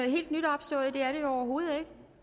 opstået det er det jo overhovedet ikke